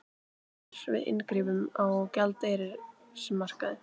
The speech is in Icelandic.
Varar við inngripum á gjaldeyrismarkaði